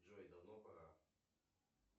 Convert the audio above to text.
джой давно пора